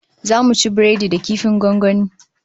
Zamu ci biredi da kifin gwangwani